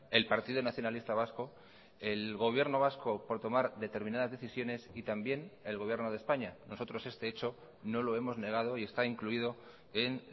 el partido nacionalista vasco el gobierno vasco por tomar determinadas decisiones y también el gobierno de españa nosotros este hecho no lo hemos negado y está incluido en